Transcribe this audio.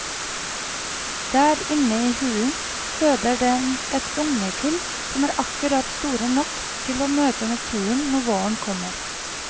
Der inne i hulen føder den et ungekull som er akkurat store nok til å møte naturen når våren kommer.